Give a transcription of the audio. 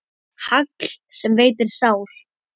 Hagl sem veitir sár.